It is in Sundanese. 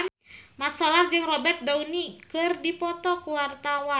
Mat Solar jeung Robert Downey keur dipoto ku wartawan